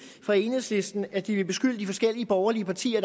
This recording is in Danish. fra enhedslistens at de vil beskylde de forskellige borgerlige partier